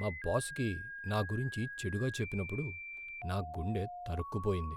మా బాస్కి నా గురించి చెడుగా చెప్పినప్పుడు నా గుండె తరుక్కుపోయింది .